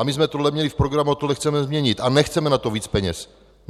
A my jsme to měli v programu a tohle chceme změnit a nechceme na to víc peněz.